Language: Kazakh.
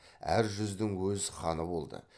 әр жүздің өз ханы болды